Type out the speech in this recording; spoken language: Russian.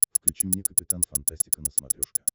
включи мне капитан фантастика на смотрешке